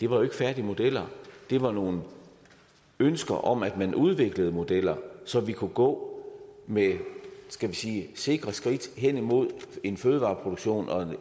var færdige modeller det var nogle ønsker om at man udviklede nogle modeller så vi kunne gå med skal vi sige sikre skridt hen imod en fødevareproduktion og